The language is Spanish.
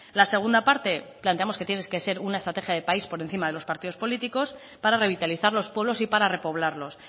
la segunda parte planteamos que tiene que ser una estrategia de país por encima de los partidos políticos para revitalizar los pueblos y para repoblarlos